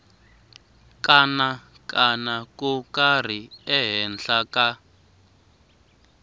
kanakana ko karhi ehenhla ka